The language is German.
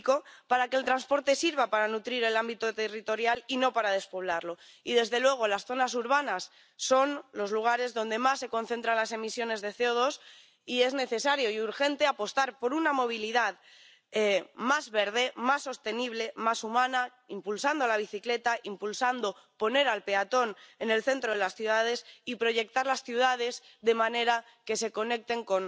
Herr Präsident, liebe Frau Bulc, verehrte Kolleginnen und Kollegen! Wollt ihr, dass die zukünftige Mobilität sicher, nachhaltig und gerecht ist? Dann müssen wir sie auch innovativ, digital und wettbewerbsorientiert machen. Wie können wir das bewirken durch smarte Fahrer, Fahrzeuge und Infrastruktur. Ein Schritt zur Erhöhung der Straßenverkehrssicherheit